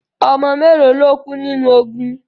Ọmọ mélo lo kú nínu ogun?